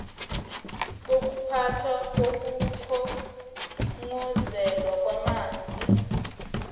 bokuphathwa kokukhongozelwa kwamanzi